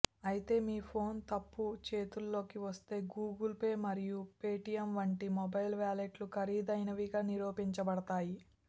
అయితే మీ ఫోన్ తప్పు చేతుల్లోకి వస్తే గూగుల్ పే మరియు పేటిఎమ్ వంటి మొబైల్ వాలెట్లు ఖరీదైనవిగా నిరూపించబడతాయి